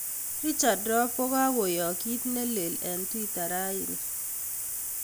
richard rop kog'okoyaak kiit nelel eng' twita raini